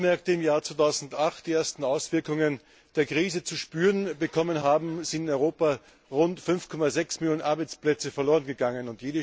Seit die Arbeitsmärkte im Jahr 2008 die ersten Auswirkungen der Krise zu spüren bekommen haben, sind in Europa rund 5,6 Millionen Arbeitsplätze verlorengegangen.